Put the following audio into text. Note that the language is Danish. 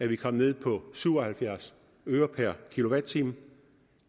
vi kom ned på syv og halvfjerds øre per kilowatt time